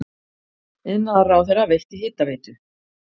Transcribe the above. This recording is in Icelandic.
Iðnaðarráðherra veitti Hitaveitu